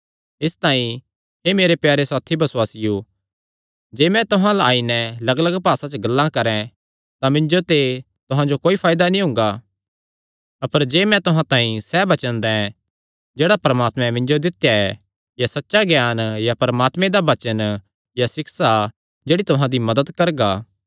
इसतांई हे मेरे प्यारे साथी बसुआसियो जे मैं तुहां अल्ल आई नैं लग्गलग्ग भासा च गल्लां करैं तां मिन्जो ते तुहां जो क्या फायदा हुंगा अपर जे मैं तुहां तांई सैह़ वचन दैं जेह्ड़ा परमात्मे मिन्जो दित्या ऐ या सच्चा ज्ञान या परमात्मे दा वचन या सिक्षा जेह्ड़ा तुहां दी मदत करगा